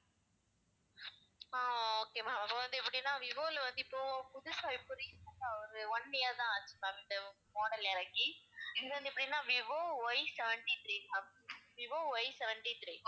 ஆஹ் okay ma'am இப்ப வந்து எப்படின்னா விவோல வந்து இப்போ புதுசா இப்ப recent ஆ ஒரு one year தான் ஆச்சு ma'am இந்த model இறக்கி இது வந்து எப்படின்னா Vivo Y seventy-three ma'am Vivo Y seventy-three